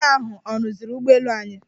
Ịnjinia ahụ ọ rụziri ụgbọelu anyị?